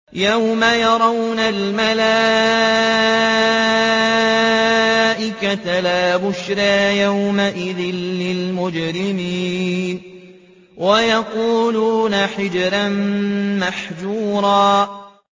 يَوْمَ يَرَوْنَ الْمَلَائِكَةَ لَا بُشْرَىٰ يَوْمَئِذٍ لِّلْمُجْرِمِينَ وَيَقُولُونَ حِجْرًا مَّحْجُورًا